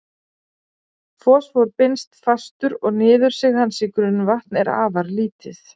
Fosfór binst fastur og niðursig hans í grunnvatn er afar lítið.